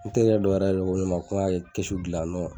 Ne terikɛ dɔ yɛrɛ ko ne ma ko n ka kɛ kisu gilan nɔ